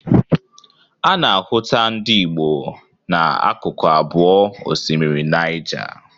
A na-ahụta ndị Igbo na akụkụ abụọ osimiri Nịaja.